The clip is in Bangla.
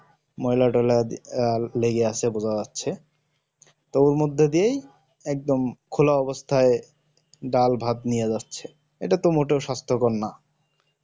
ময়লা টয়লা লেগে আছে বোঝা যাচ্ছে তো ওর মধ্যে দিয়েই একদম খোলা অবস্থাই ডাল ভাত নিয়ে যাচ্ছে ইটা তো মোটেও সাস্থ কর নয়